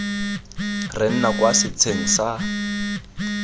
re nna kwa setsheng sa